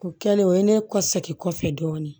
U kɛlen o ye ne ka segin kɔfɛ dɔɔnin